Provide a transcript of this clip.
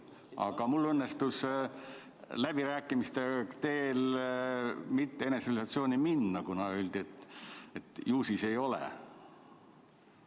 Aga mul õnnestus läbirääkimiste tulemusena mitte eneseisolatsiooni minna, kuna öeldi, et ju siis ei ole vaja.